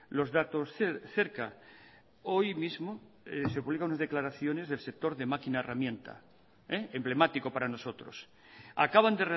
los datos cerca hoy mismo se publican unas declaraciones del sector de máquina herramienta emblemático para nosotros acaban